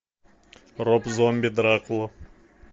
роб зомби дракула